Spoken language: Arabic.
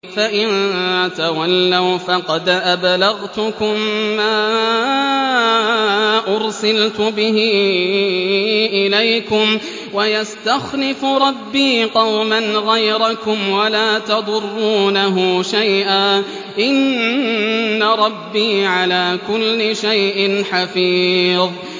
فَإِن تَوَلَّوْا فَقَدْ أَبْلَغْتُكُم مَّا أُرْسِلْتُ بِهِ إِلَيْكُمْ ۚ وَيَسْتَخْلِفُ رَبِّي قَوْمًا غَيْرَكُمْ وَلَا تَضُرُّونَهُ شَيْئًا ۚ إِنَّ رَبِّي عَلَىٰ كُلِّ شَيْءٍ حَفِيظٌ